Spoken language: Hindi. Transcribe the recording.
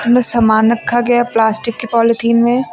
इनमें सामान रखा गया है प्लास्टिक के पॉलीथिन में।